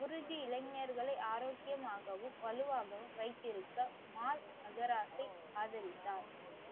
குரு ஜீ இளைஞர்களை ஆரோக்கியமாகவும் வலுவாகவும் வைத்திருக்க மால் அஹராசி ஆதரித்தார்.